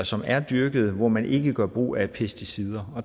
som er dyrket hvor man ikke gør brug af pesticider